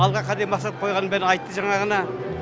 алға қандай мақсат қойғанын бәрін айтты жаңа ғана